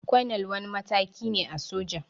Kwanal wani mataki ne a soja